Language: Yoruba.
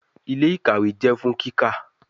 Ile-ikawe jẹ fun kika